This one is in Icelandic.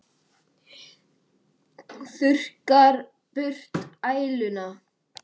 Þurrkar burt æluna.